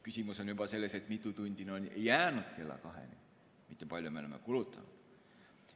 Küsimus on selles, kui mitu tundi on jäänud kella kaheni, mitte selles, kui palju me oleme kulutanud.